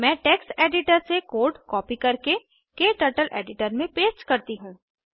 मैं text editor से code copy करके क्टर्टल एडिटर में पेस्ट करती हूँ